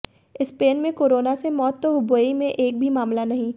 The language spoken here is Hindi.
स्पेन में कोरोना से मौत तो हुबेई में एक भी मामला नहीं